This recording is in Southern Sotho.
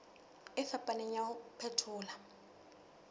e fapaneng ya ho phethola